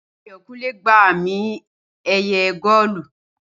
Ayọ̀kúnlé gba àmì- ẹ̀yẹ góólù